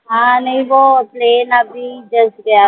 हा नही वो plane अभी just गया